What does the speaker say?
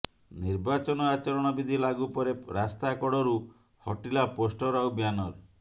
ନିର୍ବାଚନ ଆଚରଣ ବିଧି ଲାଗୁ ପରେ ରାସ୍ତାକଡରୁ ହଟିଲା ପୋଷ୍ଟର ଆଉ ବ୍ୟାନର